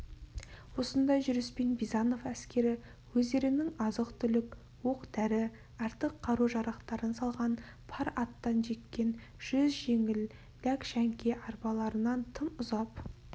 осындай жүріспен бизанов әскері өздерінің азық-түлік оқ-дәрі артық қару-жарақтарын салған пар аттан жеккен жүз жеңіл ләкшәңке-арбаларынан тым ұзап